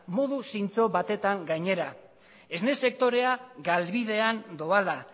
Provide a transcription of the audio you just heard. modu zintzo batetan gainera esne sektorea galbidean doala